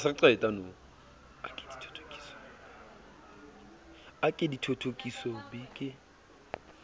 a ke dithothokiso b ke